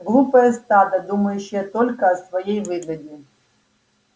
глупое стадо думающее только о своей выгоде